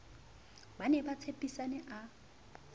ba ne ba tshepisane a